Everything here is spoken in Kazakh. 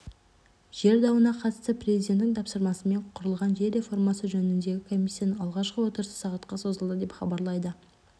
жер дауына қатысты президенттің тапсырмасымен құрылған жер реформасы жөніндегі комиссияның алғашқы отырысы сағатқа созылды деп хабарлайды